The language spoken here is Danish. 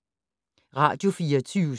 Radio24syv